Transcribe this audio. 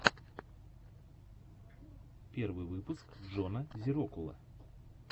первый выпуск джона зирокула